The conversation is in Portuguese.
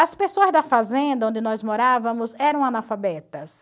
As pessoas da fazenda onde nós morávamos eram analfabetas.